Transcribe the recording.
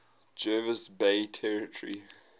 jervis bay territory